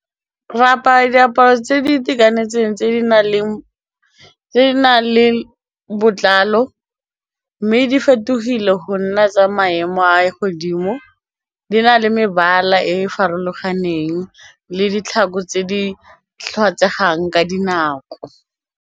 Re apara diaparo tse di itekanetseng tse di nang le botlalo mme di fetogile go nna tsa maemo a ye godimo di na le mebala e e farologaneng le ditlhako tse di tlhokegang ka dinako.